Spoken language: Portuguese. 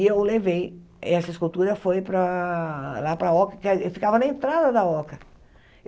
E eu levei essa escultura foi para lá para a Oca, quer ficava na entrada da Oca.